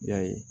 I y'a ye